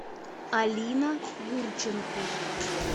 алина гурченко